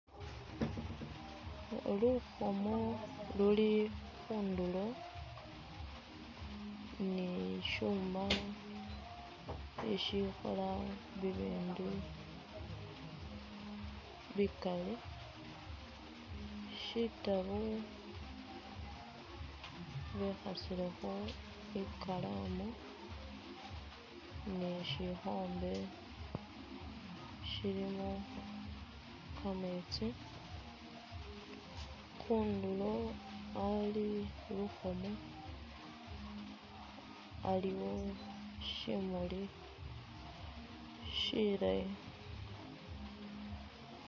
Lukhomo luli khunduro ni shuma ishikhola bibindu bikali shitaabo bekhasilekho ikalamu ni shikhombe shilimo kameetsi khunduro ali lukhomo aliwo shimuli shilayi.